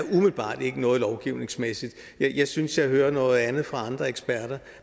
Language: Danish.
noget lovgivningsmæssigt jeg synes at jeg hører noget andet fra andre eksperter